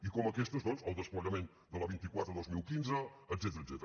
i com aquestes doncs el desplegament de la vint quatre dos mil quinze etcètera